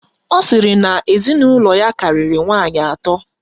Ọ sịrị na ezinụlọ ya karịrị nwaanyị atọ.